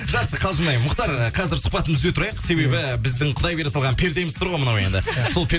жақсы қалжындаймын мұхтар ы қазір сұхбатымызды үзе тұрайық себебі біздің құдай бере салған пердеміз тұр ғой мынау енді сол